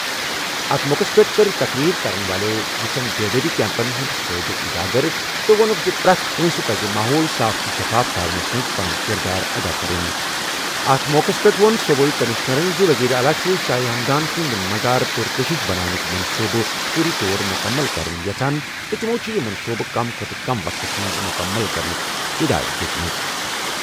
اَتھ موقعَس پٮ۪ٹھ کٔر مقررین یِتھٮ۪ن بیدٲری کیمپَن ہٕنٛز فٲیدٕ اجاگر تہٕ ووٚنُن زِ پرٛٮ۪تھ کانٛہہ پزِ ماحول صاف تہٕ شفاف تھاونس منٛز پنُن کِردار ادا کرُن۔ اَتھ موقعَس پٮ۪ٹھ ووٚن صوبٲئی کٔمِشنرن زِ وزیر اعلیٰ چھُ شاہ ہمدان سُنٛد مزار پرکشش بناونُک منصوبہٕ فوری طور پٲٹھۍ مُکمل کرُن یژھان تہٕ تٔمۍ چھُ یہِ منصوبہٕ کم کھوتہٕ کم وقتس منٛز مُکمل کرنٕچ ہدایت دِژمٕژ۔